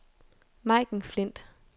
Majken Flindt